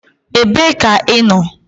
Ebee ka ị nọ?